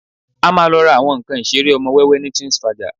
A máa lọ ra àwọn nǹkan ìṣeré ọmọ wẹ́wẹ́ ní Twinsfaja